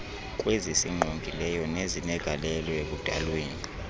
kwezisingqongileyo nezinegalelo ekudalweni